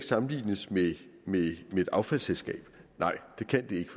sammenlignes med et affaldsselskab nej det kan det ikke